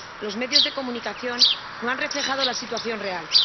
Los medios de comunicación no han reflejado la situación real